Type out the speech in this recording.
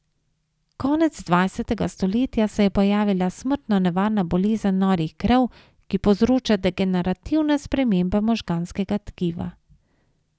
Konec dvajsetega stoletja se je pojavila smrtno nevarna bolezen norih krav, ki povzroča degenerativne spremembe možganskega tkiva.